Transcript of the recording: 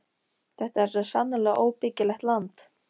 Þetta er svo sannarlega óbyggilegt land.